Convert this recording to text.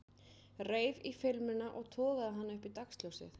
Reif í filmuna og togaði hana upp í dagsljósið.